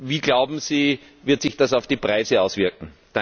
Wie, glauben Sie, wird sich das auf die Preise auswirken?